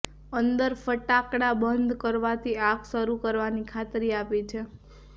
અંદર ફટાકડા બંધ કરવાથી આગ શરૂ કરવાની ખાતરી આપી છે